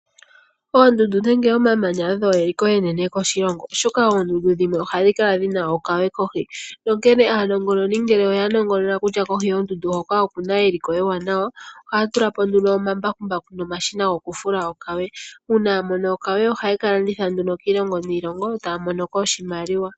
Oondundu nenge omamanya odho eliko enene koshilongo ,oshoka oondundu dhimwe ohadhi kala dhina okawe kohi. Onkene aanongoni ngele oya nongonona kutya kohi yondundu hoka okuna eliko ewanawa ohaya tulapo nduno omambakumbaku nomashina goku fula okawe. Uuna yamono okawe oha yeka landitha nduno kiilongo niilongo taya monoko oshimaliwa.